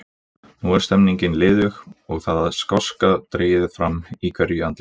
Nú er stemningin liðug og það skásta dregið fram í hverju andliti.